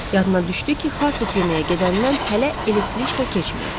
Yadına düşdü ki, xartut yeməyə gedəndən hələ elektriçka keçməyib.